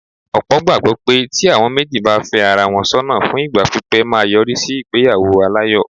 Ọ̀pọ̀ gbàgbọ́ pé tí àwọn méjì bá fẹ́ ara wọn sọ́nà fún ìgbà pípé máa yọrí sí ìgbéyàwó aláyọ̀.